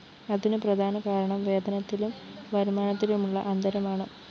അതിനു പ്രധാനകാരണം വേതനത്തിലും വരുമാനത്തിലുമുള്ള അന്തരമാണ്